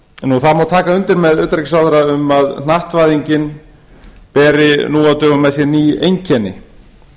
það má taka undir með utanríkisráðherra um að hnattvæðingin beri nú á dögum með sér ný einkenni